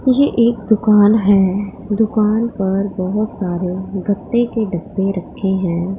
ये एक दुकान हैं दुकान पर बहौत सारे गत्ते के डब्बे रखे हैं।